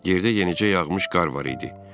Yerdə yenicə yağmış qar var idi.